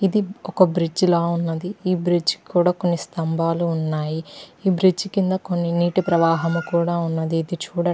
ఇది ఒక బ్రిడ్జ్ లా ఉన్నది. ఈ బ్రిడ్జ్ కి కూడా కొన్ని స్తంభాలు ఉన్నాయి. ఈ బ్రిడ్జ్ కింద కొన్ని నీటి ప్రవాహం కూడా ఉన్నది. ఇటు చూడండి--